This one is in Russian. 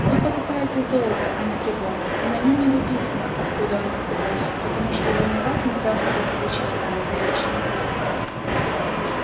вы покупаете золото а не прибор и на нем не написано откуда оно взялось потому что его никак нельзя будет отличить от настоящего